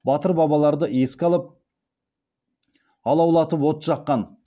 батыр бабаларды еске алып алаулатып от жаққан